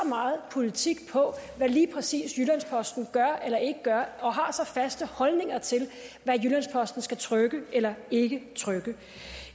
meget politik på hvad lige præcis jyllands posten gør eller ikke gør og har så faste holdninger til hvad jyllands posten skal trykke eller ikke trykke